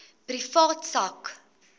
privaat sak